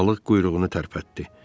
Balıq quyruğunu tərpətdi.